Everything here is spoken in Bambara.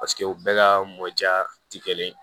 Paseke u bɛɛ ka mɔ ja ti kelen ye